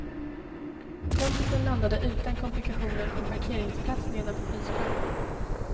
Kompisen landade utan komplikationer på en parkeringsplats nedanför skyskrapan.